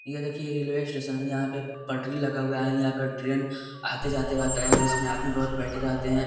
ये देखिये ये रेलवे स्टेशन है यहां पर पटरी लगा हुआ है यहां पर ट्रेन आते जाते रहता है उसमें आदमी बहोत बैठे रहते है।